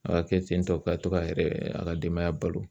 A ka kɛ ten tɔ ka to ka yɛrɛ a ka denbaya balo